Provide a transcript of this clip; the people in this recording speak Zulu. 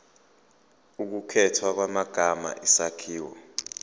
ukukhethwa kwamagama isakhiwo